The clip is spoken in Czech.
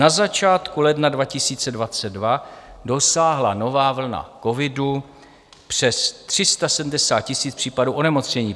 Na začátku ledna 2022 dosáhla nová vlna covidu přes 370 000 případů onemocnění.